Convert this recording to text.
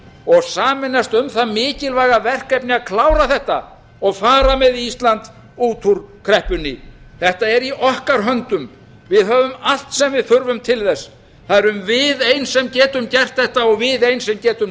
og sameinast um það mikilvæga verkefni að klára þetta og bara með ísland út úr kreppunni þetta er í okkar höndum við höfum allt sem við þurfum til þess það erum við ein sem getum gert þetta og við ein sem getum